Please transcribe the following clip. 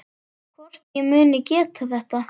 Hvort ég muni geta þetta.